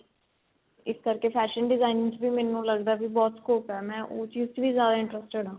ਇਸ ਕਰਕੇ fashion designing ਚ ਵੀ ਮੈਨੂੰ ਲੱਗਦਾ ਕੀ ਬਹੁਤ scope ਏ ਮੈਂ ਉਸ ਚੀਜ ਚ ਵੀ ਜਿਆਦਾ interested ਆ